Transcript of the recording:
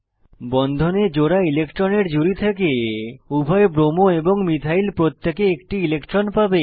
বন্ধনে জোড়া ইলেক্ট্রনের জুড়ি থেকে উভয় ব্রোমো এবং মিথাইল প্রত্যেকে একটি ইলেক্ট্রন পাবে